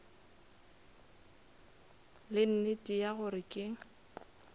le nnete ya gore ke